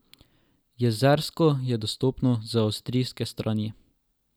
Jezersko je dostopno z avstrijske strani.